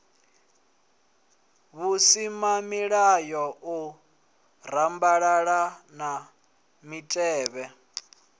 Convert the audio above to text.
vhusimamilayo u rambalala na mitevhe